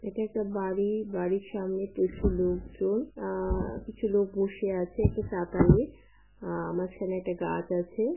এটা একটা বাড়ি বাড়ির সামনে প্রচুর লোক জন আ কিছু লোক বসে আছে একটা চাতালে । আ মাঝখানে একটা গাছ আছে।